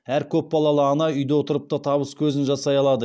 әр көпбалалы ана үйде отырып та табыс көзін жасай алады